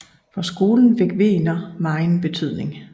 For skolen fik Wegener megen betydning